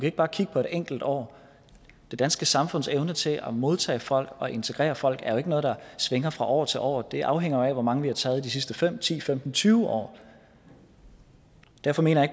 ikke bare kigge på det enkelte år det danske samfunds evne til at modtage folk og integrere folk er jo ikke noget der svinger fra år til år det afhænger jo af hvor mange vi har taget de sidste fem ti femten tyve år derfor mener jeg